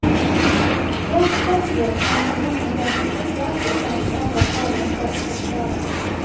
Rätt säkerhet är enligt honom den som skyddar utan att ändra förarens sätt att köra.